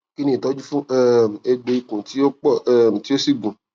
kini itọju fun um egbo ikun ti o pọ um ti o si gunun